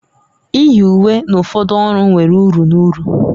Iyi uwe na ụfọdụ ọrụ nwere uru na uru